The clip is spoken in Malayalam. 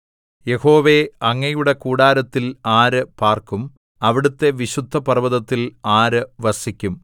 യഹോവേ അങ്ങയുടെ കൂടാരത്തിൽ ആര് പാർക്കും അവിടുത്തെ വിശുദ്ധപർവ്വതത്തിൽ ആര് വസിക്കും